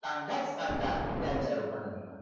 तांडाच कानडा त्यांच्या रुपान